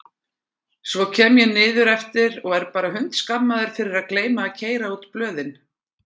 Svo kem ég niðreftir og er bara hundskammaður fyrir að gleyma að keyra út blöðin!